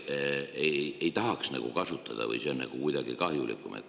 Seda me ei tahaks justkui nagu kasutada või on see kuidagi kahjulikum.